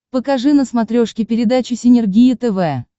покажи на смотрешке передачу синергия тв